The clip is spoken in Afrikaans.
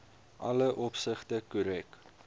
alle opsigte korrek